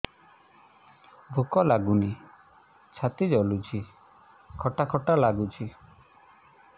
ଭୁକ ଲାଗୁନି ଛାତି ଜଳୁଛି ଖଟା ଖଟା ଲାଗୁଛି